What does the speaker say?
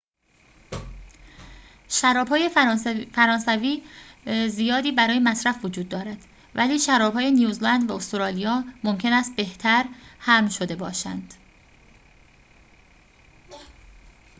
شراب‌های فرانسوی زیادی برای مصرف وجود دارد ولی شراب‌های نیوزلند و استرالیا ممکن است بهتر حمل شده باشند